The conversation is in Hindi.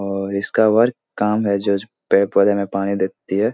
और इसका वर्क काम है जो पेड़-पौधों मे पानी देखती है।